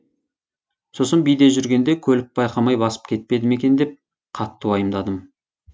сосын биде жүргенде көлік байқамай басып кетпеді ме екен деп қатты уайымдадым